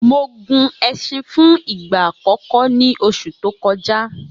Mo gun ẹṣin fún ìgbà àkọ́kọ́ ní oṣù tó kọjá